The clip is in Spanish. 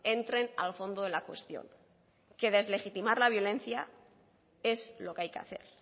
entren al fondo de la cuestión que deslegitimar la violencia es lo que hay que hacer